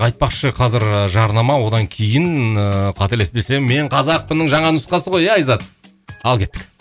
айтпақшы қазір ыыы жарнама одан кейін ыыы қателеспесем мен қазақпынның жаңа нұсқасы ғой иә айзат ал кеттік